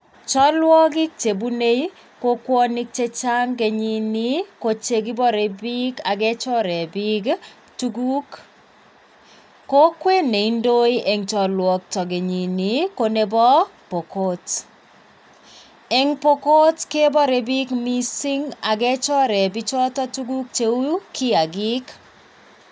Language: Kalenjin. Chalwokik chebune kokwonik chechang kenyini ko che kibore piik ak kechore piik tuguk, kokwet ne indoi eng chalwakta kenyini ko nebo Pokot, eng Pokot kebare piik mising ak kechore pichoto tuguk cheu kiyakiik.